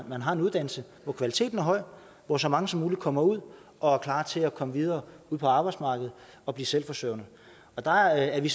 at man har en uddannelse hvor kvaliteten er høj og hvor så mange som muligt kommer ud og er klar til at komme videre ud på arbejdsmarkedet og blive selvforsørgende og der er vi